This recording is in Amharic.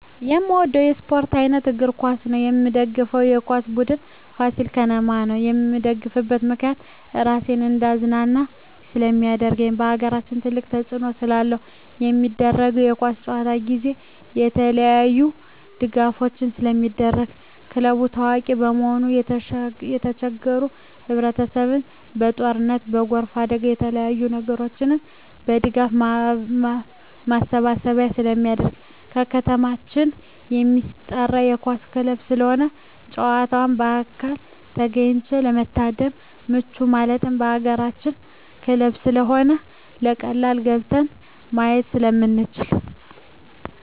የምወደው የስፓርት አይነት እግር ኳስ ነው። የምደግፈው የኳስ ቡድን የፋሲል ከነማ ቡድን ነው። የምደግፍበት ምክንያት ራሴን እንዳዝናና ስለማደርግ በአገራችን ትልቅ ተፅዕኖ ስላለው። በሚደረገው የኳስ ጨዋታ ጊዜ የተለያዪ ድጋፎች ስለሚደረጉ ክለቡ ታዋቂ በመሆኑ የተቸገሩ ህብረቸሰብ በጦርነት በጎርፍ አደጋ በተለያዪ ነገሮች የድጋፍ ማሰባሰቢያ ስለሚደረግ። በከተማችን የማስጠራ የኳስ ክለብ ስለሆነ ጨዋታውን በአካል ተገኝቶ ለመታደም ምቹ ማለት የአገራችን ክለብ ስለሆነ በቀላሉ ገብተን ማየት ስለምንችል።